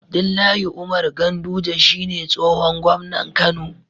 Abdullahi Umar ganduje shine tsihon gomnan kano